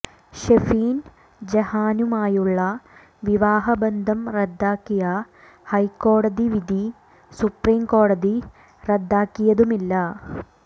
ഷെഫീൻ ജഹാനുമായുള്ള വിവാഹബന്ധം റദ്ദാക്കിയ ഹൈക്കോടതി വിധി സുപ്രീം കോടതി റദ്ദാക്കിയതുമില്ല